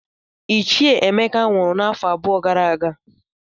Ichie Emeka nwụrụ n'afọ abụọ gara aga